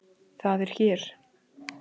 Það er hér.